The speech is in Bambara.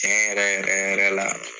tiɲen yɛrɛ yɛrɛ yɛrɛ la